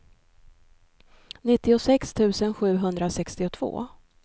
nittiosex tusen sjuhundrasextiotvå